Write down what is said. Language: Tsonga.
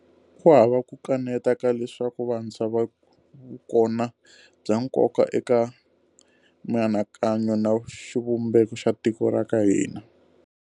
Ku hava ku kaneta ka leswaku vantshwa va vukona bya nkoka eka mianakanyo na xivumbeko xa tiko ra ka hina.